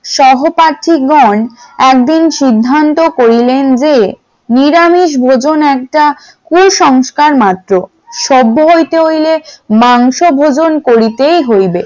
সহপ্রার্থীগণ একদিন সিদ্ধান্ত করিলেন যে নিরামিষভোজন একটা কুসংস্কার মাত্র সভ্য হইতে হইলে মাংস গ্রহণ করিতে হইবে ।